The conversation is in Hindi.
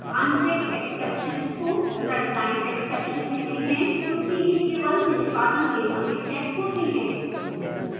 unchecked exceptions को runtime exception कहते हैं क्योंकि यह केवल निष्पादन के समय checked होते हैं